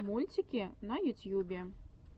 мультики на ютьюбе